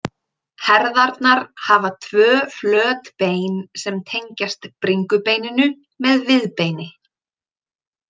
Herðarnar hafa tvö flöt bein sem tengjast bringubeininu með viðbeini.